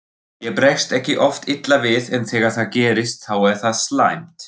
Ég bregst ekki oft illa við en þegar það gerist þá er það slæmt.